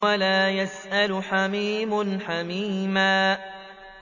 وَلَا يَسْأَلُ حَمِيمٌ حَمِيمًا